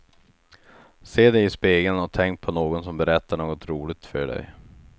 Se dig i spegeln och tänk på någon som berättar något roligt för dig.